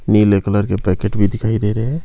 नीले कलर के पैकेट भी दिखाई दे रहे--